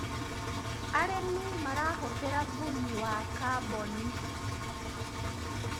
arĩmi marahuthira thumu wa carbon